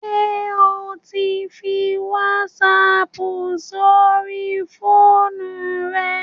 Ṣé o ti ń fi wásaapù sóri fóònù rẹ?